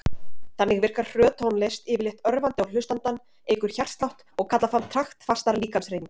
Þannig virkar hröð tónlist yfirleitt örvandi á hlustandann, eykur hjartslátt og kallar fram taktfastar líkamshreyfingar.